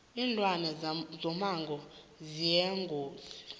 linlwane zomango ziyingozi